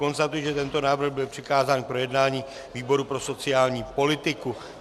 Konstatuji, že tento návrh byl přikázán k projednání výboru pro sociální politiku.